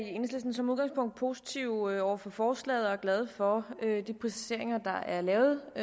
som udgangspunkt positive over for forslaget og er glade for de præciseringer der er lavet i